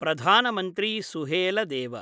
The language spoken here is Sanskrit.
प्रधानमन्त्री सुहेलदेव